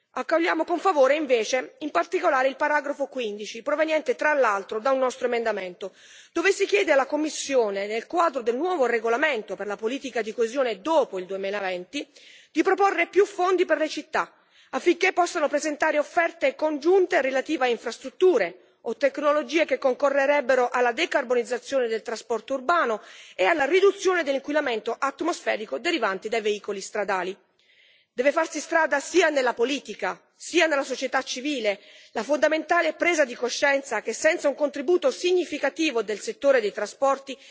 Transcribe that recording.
Accogliamo invece con favore in particolare il paragrafo 15 proveniente, tra l'altro, da un nostro emendamento, dove si chiede alla Commissione, nel quadro del nuovo regolamento per la politica di coesione dopo il 2020, di proporre più fondi per le città, affinché possano presentare offerte congiunte relative a infrastrutture o tecnologie che concorrerebbero alla decarbonizzazione del trasporto urbano e alla riduzione dell'inquinamento atmosferico derivante da veicoli stradali. Deve farsi strada, sia nella politica sia nella società civile, la fondamentale presa di coscienza che senza un contributo significativo del settore dei trasporti